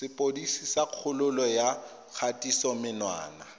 sepodisi sa kgololo ya kgatisomenwa